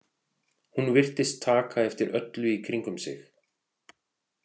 Hún virtist taka eftir öllu í kringum sig.